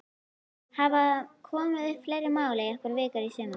Hafa komið upp fleiri mál í einhverri viku í sumar?